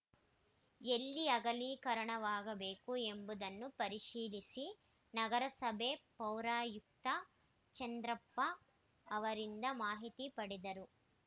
ಎಲ್ಲಿ ಅಗಲೀಕರಣವಾಗಬೇಕು ಎಂಬುದನ್ನು ಪರಿಶೀಲಿಸಿ ನಗರಸಭೆ ಪೌರಾಯುಕ್ತ ಚಂದ್ರಪ್ಪ ಅವರಿಂದ ಮಾಹಿತಿ ಪಡೆದರು